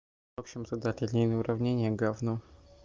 в общем задать линейные уравнения говно